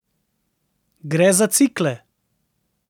Gre za cikle.